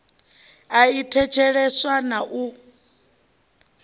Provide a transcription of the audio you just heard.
i a thetsheleswa na u